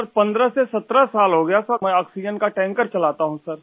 sir 15 से 17 साल हो गया सर मैं आक्सीजेन का टैंकरचलाता हूँ सर